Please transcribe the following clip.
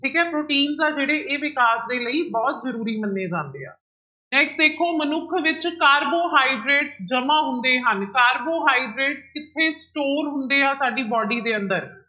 ਠੀਕ ਹੈ ਪ੍ਰੋਟੀਨਸ ਆ ਜਿਹੜੇ ਇਹ ਵਿਕਾਸ ਦੇ ਲਈ ਬਹੁਤ ਜ਼ਰੂਰੀ ਮੰਨੇ ਜਾਂਦੇ ਆ next ਦੇਖੋ ਮਨੁੱਖ ਵਿੱਚ ਕਾਰਬੋਹਾਈਡ੍ਰੇਟ ਜਮਾ ਹੁੰਦੇ ਹਨ, ਕਾਰਬੋਹਾਈਡ੍ਰੇਟ ਕਿੱਥੇ store ਹੁੰਦੇ ਆ ਸਾਡੀ body ਦੇ ਅੰਦਰ